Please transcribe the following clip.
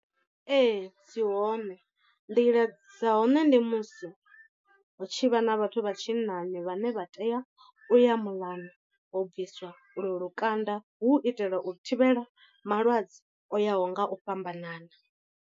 Ee dzi hone, nḓila dza hone ndi musi hu tshi vha na vhathu vha tshinnani vhane vha tea u ya muḽani u bviswa u lwo lukanda hu u itela u thivhela malwadze o yaho nga u fhambanana.